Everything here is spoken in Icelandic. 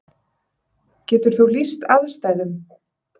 Getur þú lýst aðstæðum?